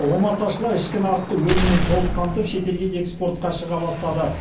омарташылар ішкі нарықты өніммен толық қамтып шетелге экспортқа шыға бастады